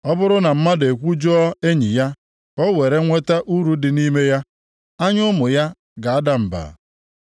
Ọ bụrụ na mmadụ ekwujọọ enyi ya ka o were nweta uru dị nʼime ya, anya ụmụ ya ga-ada mba.